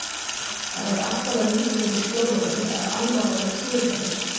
Þetta væri allt annað líf hér í Skjólunum ef Alma væri kjur hjá mér.